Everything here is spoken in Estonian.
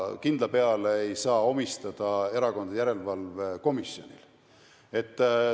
Kindla peale ei saa neid ülesandeid panna erakondade järelevalve komisjonile.